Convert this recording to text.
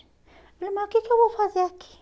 Eu falei, mas o que que eu vou fazer aqui?